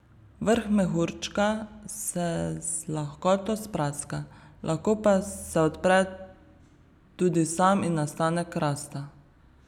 Vrh mehurčka se z lahkoto spraska, lahko pa se odpre tudi sam in nastane krasta.